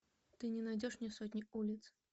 ты не найдешь мне сотни улиц